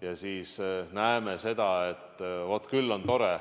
Ja siis näeme seda, et küll on tore,